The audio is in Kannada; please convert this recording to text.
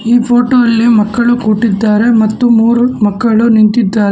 ಈ ಫೋಟೋ ಅಲ್ಲಿ ಮಕ್ಕಳು ಕೂತಿದ್ದಾರೆ ಮತ್ತು ಮೂರು ಮಕ್ಕಳು ನಿಂತಿದ್ದಾರೆ.